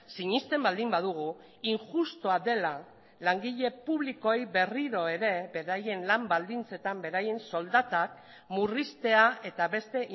sinesten baldin badugu injustua dela langile publikoei berriro ere beraien lan baldintzetan beraien soldatak murriztea eta beste